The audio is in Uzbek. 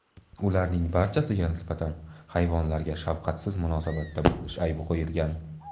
Ularning barchasiga nisbatan hayvonlarga shafqatsiz munosabatda bo‘lish aybi qo‘yilgan.